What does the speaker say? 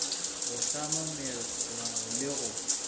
go hlama melao le go